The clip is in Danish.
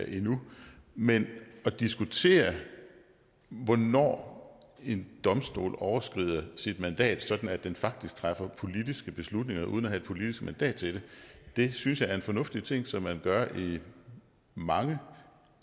endnu men at diskutere hvornår en domstol overskrider sit mandat sådan at den faktisk træffer politiske beslutninger uden at have et politisk mandat til det synes jeg er en fornuftig ting som man gør i mange